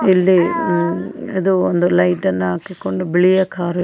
ಇಲ್ಲಿ ಲೈಟ್ ಅನ್ನು ಹಾಕಿಕೊಂಡು ಬಿಳಿಯ ಕಾರು.